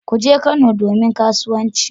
Kuje Kano domin kasuwanci